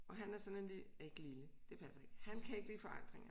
Og han er sådan en ikke lille det passer ikke han kan ikke lide forandringer